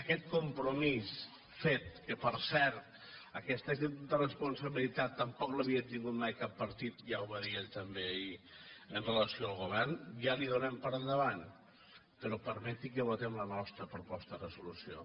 aquest compromís fet que per cert aquesta actitud de responsabilitat tampoc l’havia tingut mai cap partit ja ho va dir ell també ahir amb relació al govern ja l’hi donem per endavant però permetin que votem la nostra proposta de resolució